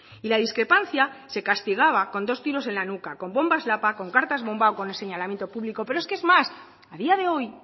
y la discrepancia se castigaba con dos tiros en la nuca con bombas lapa con cartas bombas o con el señalamiento público pero es que es más a día de hoy